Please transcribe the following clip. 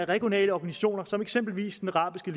regionale organisationer som eksempelvis den arabiske